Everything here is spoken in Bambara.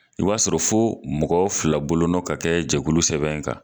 O b'a sɔrɔ fo mɔgɔ fila bolo nɔ ka kɛ jɛkulu sɛbɛn in kan.